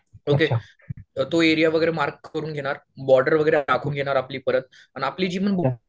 okay तो area वगैरे mark करून घेणार बॉर्डर वगैरे आखून घेणार आपली परत अन आपली जी